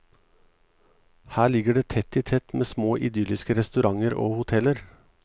Her ligger det tett i tett med små idylliske restauranter og hoteller.